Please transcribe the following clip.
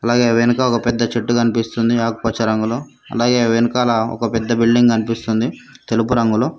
అలాగే వెనక ఒక పెద్ద చెట్టు కనిపిస్తుంది ఆకుపచ్చ రంగులో అలాగే వెనకాల పెద్ద ఒక పెద్ద బిల్డింగ్ కనిపిస్తుంది తెలుపు రంగులో.